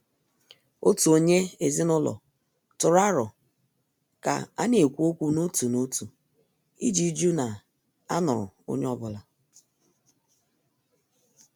Òtù onye ezinụlọ tụrụ aro ka a na-ekwu okwu n' òtù n'òtu iji jụ na a nụrụ onye ọ́bụ̀la.